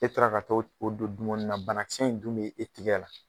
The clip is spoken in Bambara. E taara ka t'o d o don dumuni na bana kisɛ in dun be e tigɛ la